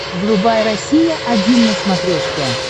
врубай россия один на смотрешке